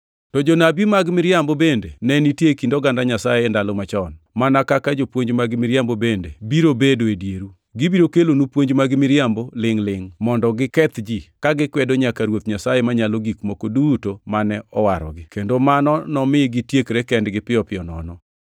To jonabi mag miriambo bende ne nitie e kind oganda Nyasaye e ndalo machon, mana kaka jopuonj mag miriambo bende biro bedo e dieru. Gibiro kelonu puonj mag miriambo lingʼ-lingʼ mondo giketh ji, ka gikwedo nyaka Ruoth Nyasaye Manyalo Gik Moko Duto mane owarogi kendo mano nomi gitiekre kendgi piyo piyo nono!